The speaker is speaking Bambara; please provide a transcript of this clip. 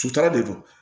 Sutura de don